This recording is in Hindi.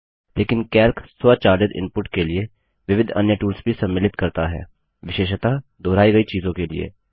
लेकिन कैल्क स्वचालित इनपुट के लिए विविध अन्य टूल्स भी सम्मिलित करता है विशेषतः दोहराई गई चीजों के लिए